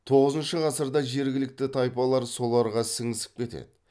тоғызыншы ғасырда жергілікті тайпалар соларға сіңісіп кетеді